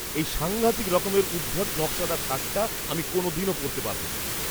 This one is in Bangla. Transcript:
এই সাঙ্ঘাতিক রকমের উদ্ভট নকশাদার শার্টটা আমি কোনওদিনও পরতে পারবো না।